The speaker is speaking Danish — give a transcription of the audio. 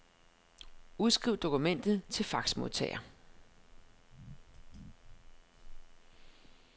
Udskriv dokumentet til faxmodtager.